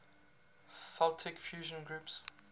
celtic fusion groups